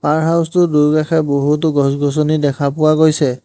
পাৰ house টোৰ দুয়োকাষে বহুতো গছ গছনি দেখা পোৱা গৈছে।